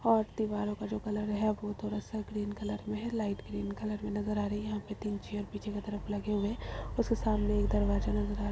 और दीवारों का जो कलर है वह थोड़ा-सा ग्रीन कलर में है लाइट ग्रीन कलर की नजर आ रही है। यहां पर तीन चेयर्स पीछे की तरफ लगे हुए हैं और उसके सामने की तरफ दरवाजा नज़र आ रहा है।